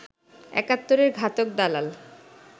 একাত্তরের ঘাতক দালাল